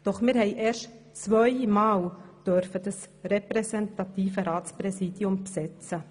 Doch wir durften erst zweimal das repräsentative Ratspräsidium besetzen.